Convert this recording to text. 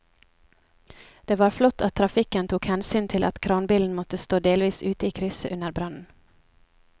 Det var flott at trafikken tok hensyn til at kranbilen måtte stå delvis ute i krysset under brannen.